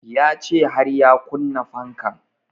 Ya ce har ya kunna fanka